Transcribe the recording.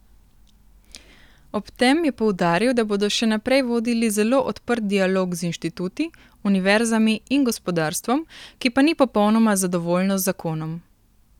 Ob tem je poudaril, da bodo še naprej vodili zelo odprt dialog z inštituti, univerzami in gospodarstvom, ki pa ni popolnoma zadovoljno z zakonom.